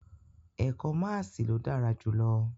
Ẹka maasii lo dara julọ